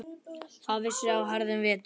Það vissi á harðan vetur.